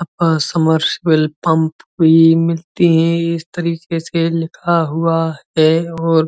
अ submersible pump भी मिलती है। इस तरीके से लिखा हुआ है और --